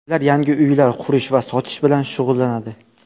Ular yangi uylar qurish va sotish bilan shug‘ullanadi.